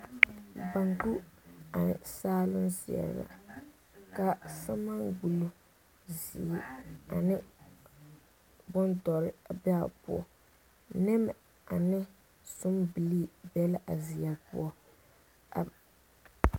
Bonko ane saaluŋ ziɛre la ka selmaa gbolo ziiri ane bondoɔre beɛ poɔ nemɛ ane zɔnbile be la a ziɛre poɔ a.